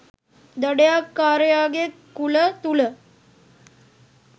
දඩයක්කාරයාගේ කුල තුළ